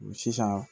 Sisan